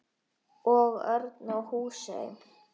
Og Örn í Húsey.